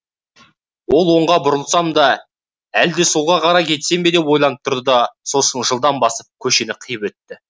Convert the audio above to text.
ол оңға бұрылсам да әлде солға қарай кетсем бе деп ойланып тұрды да сосын жылдам басып көшені қиып өтті